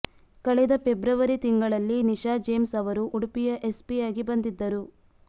ಕಳೆದ ಫೆಬ್ರವರಿ ತಿಂಗಳಲ್ಲಿ ನಿಷಾ ಜೇಮ್ಸ್ ಅವರು ಉಡುಪಿಯ ಎಸ್ಪಿಯಾಗಿ ಬಂದಿದ್ದರು